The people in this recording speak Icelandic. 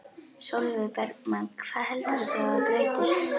Sólveig Bergmann: Hvað heldurðu þá að breytist?